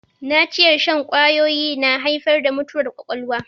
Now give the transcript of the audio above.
Naciyar shan ƙwawoyi na haifar da mutuwar ƙwaƙwalwa